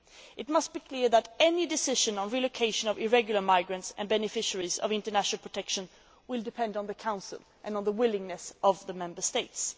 It must be clear that any decision on the relocation of irregular migrants and beneficiaries of international protection depends on the Council and on the willingness of the Member States.